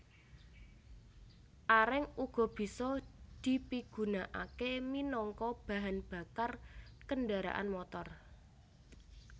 Areng uga bisa dipigunakaké minangka bahan bakar kendharaan motor